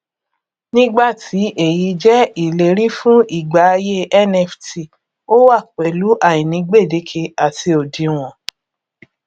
nígbà tí èyí jẹ ìlérí fún ìgbà ayé nft ó wá pẹlú àìní gbédékè àti òdiwọn